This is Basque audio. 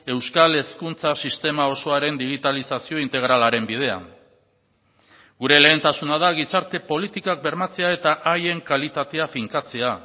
euskal hezkuntza sistema osoaren digitalizazio integralaren bidean gure lehentasuna da gizarte politikak bermatzea eta haien kalitatea finkatzea